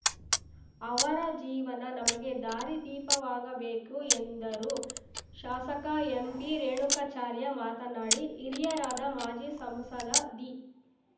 ಅವರ ಜೀವನ ನಮಗೆ ದಾರಿದೀಪವಾಗಬೇಕು ಎಂದರು ಶಾಸಕ ಎಂಪಿ ರೇಣುಕಾಚಾರ್ಯ ಮಾತನಾಡಿ ಹಿರಿಯರಾದ ಮಾಜಿ ಸಂಸದ ದಿ